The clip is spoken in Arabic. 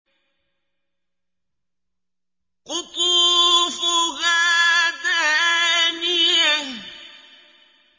قُطُوفُهَا دَانِيَةٌ